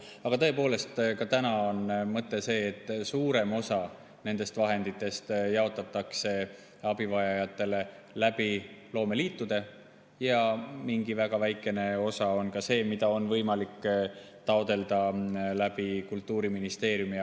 Aga tõepoolest, ka täna on see mõte, et suurem osa nendest vahenditest jaotatakse abivajajatele loomeliitude kaudu ja väga väikene osa on see, mida on võimalik taotleda Kultuuriministeeriumist.